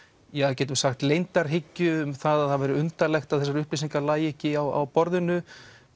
getum við sagt leyndarhyggju um það að það væri undarlegt að þessar upplýsingar lægju ekki á borðinu